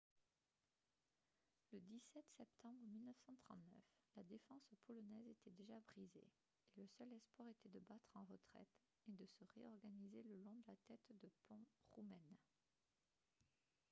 le 17 septembre 1939 la défense polonaise était déjà brisée et le seul espoir était de battre en retraite et de se réorganiser le long de la tête de pont roumaine